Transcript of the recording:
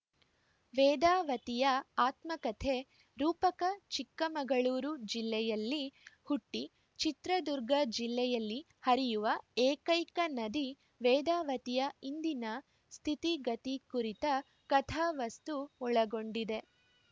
ವೇದಾವತಿಯ ಆತ್ಮಕಥೆ ರೂಪಕ ಚಿಕ್ಕಮಗಳೂರು ಜಿಲ್ಲೆಯಲ್ಲಿ ಹುಟ್ಟಿಚಿತ್ರದುರ್ಗ ಜಿಲ್ಲೆಯಲ್ಲಿ ಹರಿಯುವ ಏಕೈಕ ನದಿ ವೇದಾವತಿಯ ಇಂದಿನ ಸ್ಥಿತಿಗತಿ ಕುರಿತ ಕಥಾವಸ್ತು ಒಳಗೊಂಡಿದೆ